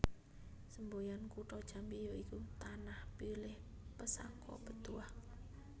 Semboyan Kutha Jambi ya iku Tanah Pilih Pesako Betuah